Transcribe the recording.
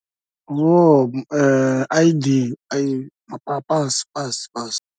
Hoo I_D mapasi pasi pasi.